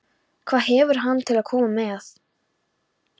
Hann hvetur hana til að koma með.